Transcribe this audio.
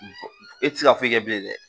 E ti se ka foyi kɛ bilen dɛ